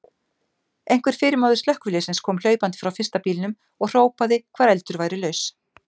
Einhver fyrirmaður slökkviliðsins kom hlaupandi frá fyrsta bílnum og hrópaði hvar eldur væri laus.